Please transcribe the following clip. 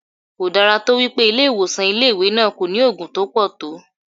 Kò dára tó wípé ilé ìwòsàn ilé ìwé náà kò ní Ògùn tó pọ̀ tó.